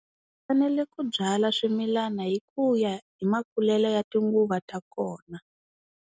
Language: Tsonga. U fanele ku byala swimilana hi ku ya hi makulelo ya tinguva ta kona.